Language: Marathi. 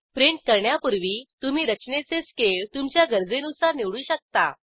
प्रिंट करण्यापूर्वी तुम्ही रचनेचे स्केल तुमच्या गरजेनुसार निवडू शकता